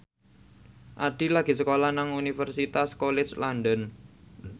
Addie lagi sekolah nang Universitas College London